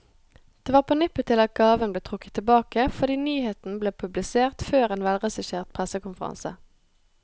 Det var på nippet til at gaven ble trukket tilbake, fordi nyheten ble publisert før en velregissert pressekonferanse.